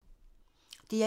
DR1